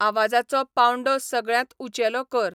आवाजाचो पांवडो सगळ्यांत ऊंचेलो कर